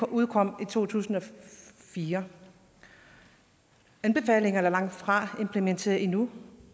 udkom i to tusind og fire anbefalingerne er langtfra implementeret endnu